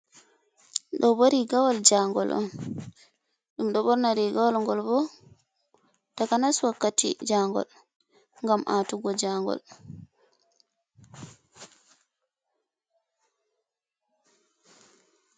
Ɗo bo riigawol jaangol on, ɗum ɗo ɓorna rigawol ngol bo, takanas wakkati jaangol ngam aatugo jaangol.